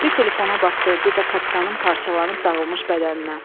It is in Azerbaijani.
Bir telefona baxdı, bir də kapitanın parçalanıb dağılmış bədəninə.